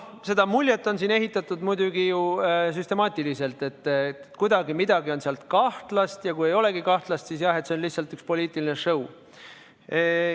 Seda muljet on siin muidugi ehitatud süstemaatiliselt, et kuidagi on seal midagi kahtlast, ja kui ei olegi kahtlast, siis jah, see on lihtsalt üks poliitiline show.